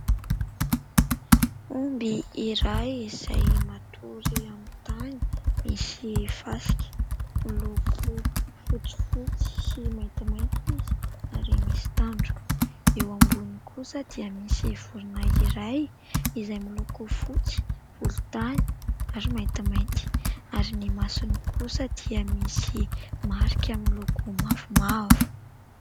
Omby iray izay matory amin'ny tany misy fasika. Miloko fotsifotsy sy maintimainty izy ary misy tandroka. Eo amboniny kosa dia misy vorona iray izay miloko fotsy volontany ary maintimainty ary ny masony kosa dia misy marika miloko mavomavo.